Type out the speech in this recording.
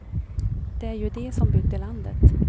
Det är ju de som byggde landet.